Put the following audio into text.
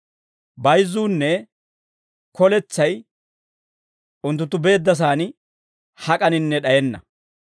Bayzzuunne koletsay, unttunttu beeddasaan hak'aninne d'ayenna.